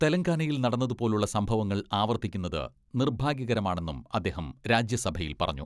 തെലങ്കാനയിൽ നടന്നതു പോലെയുള്ള സംഭവങ്ങൾ ആവർത്തിക്കുന്നത് നിർഭാഗ്യകരമാണെന്നും അദ്ദേഹം രാജ്യസഭയിൽ പറഞ്ഞു.